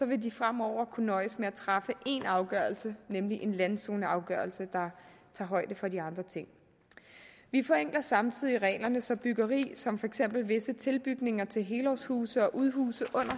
vil de fremover kunne nøjes med at træffe én afgørelse nemlig en landzoneafgørelse der tager højde for de andre ting vi forenkler samtidig reglerne så byggeri som for eksempel visse tilbygninger til helårshuse og udhuse under